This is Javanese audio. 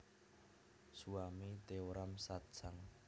Swami Teoram Satsang